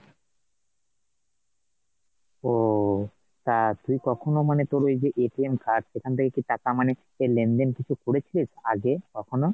ওহঃ তা তুই কখনো মানে, তোর এই যে card সেখান থেকে কি টাকা মানে লেনদেন কিছু করেছিস আগে কখনো ?